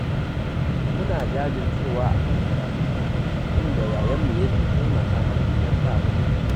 Muna jajircewa a kan karatunmu, inda yayanmu yake taimaka mana idan ba mu da kuɗi